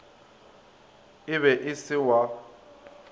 e be e se wa